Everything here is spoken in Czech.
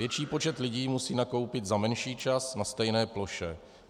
Větší počet lidí musí nakoupit za menší čas na stejné ploše.